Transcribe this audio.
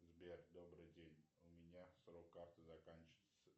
сбер добрый день у меня срок карты заканчивается